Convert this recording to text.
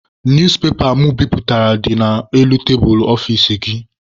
Newspepa mụ biputere dị n'elu tebulu ọfici gị.